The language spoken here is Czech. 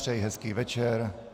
Přeji hezký večer.